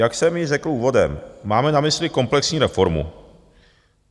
Jak jsem již řekl úvodem, máme na mysli komplexní reformu.